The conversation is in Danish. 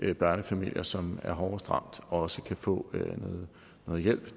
de børnefamilier som er hårdest ramt også kan få noget hjælp